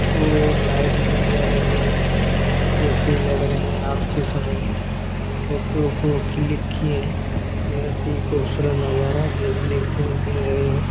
और लाइट भी जल रही है जैसी लग रही है रात के समय में फोटो को क्लिक किए हैं बहुत ही खूबसूरत नजारा देखने को मिल रहा हैं।